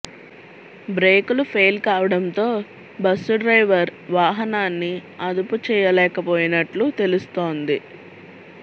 బ్రేకులు ఫెయిల్ కావడంతో bus driver వాహనాన్ని అదుపు చేయలేకపోయినట్లు తెలుస్తోంది